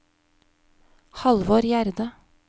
Halvor Gjerde